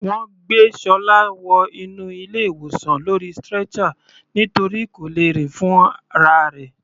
Wọ́n gbé Ṣọlá wọ inú ilé ìwòsan lórí stretcher nítorí kò lè rìn fúnra rẹ̀.